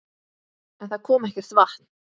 En það kom ekkert vatn.